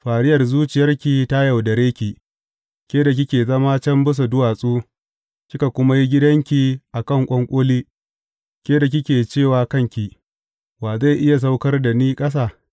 Fariyar zuciyarki ta yaudare ki, ke da kike zama can bisa duwatsu kika kuma yi gidanki a kan ƙwanƙoli, ke da kike ce wa kanki, Wa zai iya saukar da ni ƙasa?’